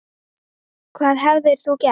Hvað hefðir þú gert?